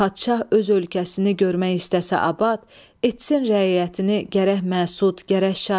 Padşah öz ölkəsini görmək istəsə abad, etsin rəiyyətini gərək məsud, gərək şad.